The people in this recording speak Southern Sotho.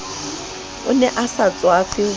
ne a sa tswafe ho